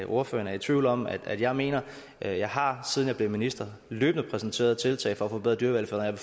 ordføreren er i tvivl om at jeg mener jeg jeg har siden jeg blev minister løbende præsenteret tiltag for at forbedre dyrevelfærden